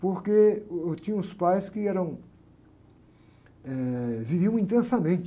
Porque uh, eu tinha uns pais que eram, eh... Viviam intensamente.